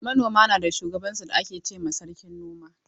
Manoma na da shugaban su da ake ce ma sarkin noma.